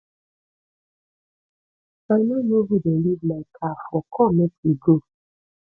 i no know who dey leave my car for come make we go